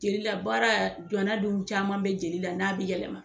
Jeli la baara jɔna dun caman bɛ jeli la n'a bɛ yɛlɛma.